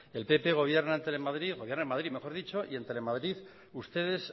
el pp gobierna en telemadrid gobierna en madrid mejor dicho y en telemadrid ustedes